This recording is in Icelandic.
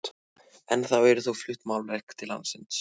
Ennþá eru þó flutt málverk til landsins.